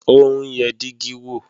Ó ń yẹ dígí wò